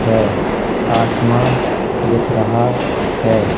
है आसमान दिख रहा है।